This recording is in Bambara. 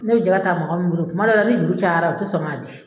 Ne bɛ jɛgɛ ta mɔgɔ min bolo kuma dɔ la ni juru cayara o tɛ sɔn k'a di.